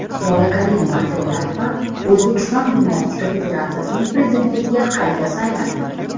Lola Karimova-Tillayeva O‘zbekiston gimnastika federatsiyasining prezidentligiga qayta saylandi.